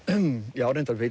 já reyndar veit